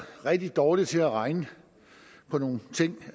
rigtig dårlig til at regne på nogle ting